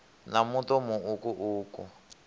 na muṱo mu uku uku